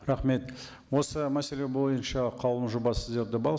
рахмет осы мәселе бойынша қаулының жобасы сіздерде бар